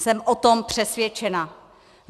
Jsem o tom přesvědčena.